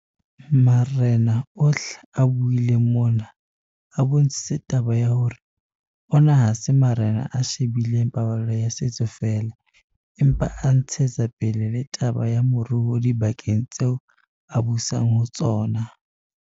Marena ohle a buileng mona, a bontshitse taba ya hore ona ha se marena a she bileng paballo ya setso feela, empa a ntshetsa pele le taba ya moruo dibakeng tseo a busang ho tsona.